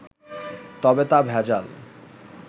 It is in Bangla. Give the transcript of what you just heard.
তবে তা ভেজাল